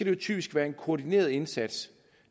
jo typisk være en koordineret indsats